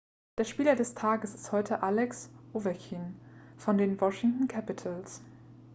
der spieler des tages ist heute alex ovechkin von den washington capitals